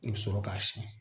I bɛ sɔrɔ k'a siyɛn